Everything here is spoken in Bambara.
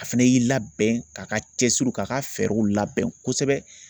A fɛnɛ y'i labɛn k'a ka cɛsiriw k'a ka fɛɛrɛw labɛn kosɛbɛ.